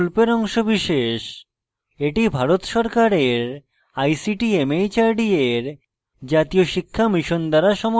এটি ভারত সরকারের ict mhrd এর জাতীয় শিক্ষা mission দ্বারা সমর্থিত